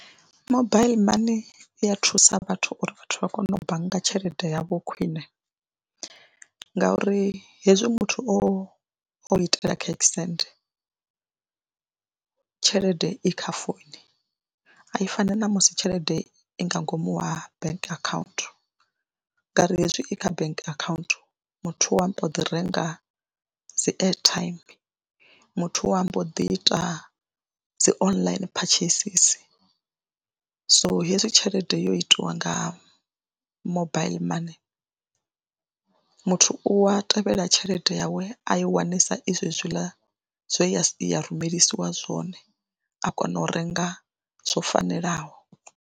Mobaiḽi money i ya thusa vhathu uri vhathu vha kone u bannga tshelede yavho khwine ngauri hezwi muthu o o itela cash send tshelede i kha founu a i fani na musi tshelede i nga ngomu wa bank akhaunthu ngauri hezwi i kha bank akhaunthu muthu wa mbo ḓi renga dzi airtime. Muthu wa mbo ḓi ita dzi online purchases. So, hezwi tshelede yo itiwa nga mobaiḽi money muthu u a tevhela tshelede yawe a i wanesa i zwezwiḽa zwe ya rumelisiwa zwone a kona u renga zwo fanelaho.